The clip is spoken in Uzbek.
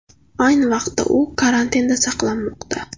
Ayni vaqtda u karantinda saqlanmoqda.